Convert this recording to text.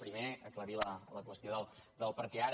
primer aclarir la qüestió de per què ara